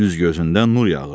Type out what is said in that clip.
Üz-gözündən nur yağırdı.